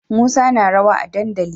Musa na rawa a dandali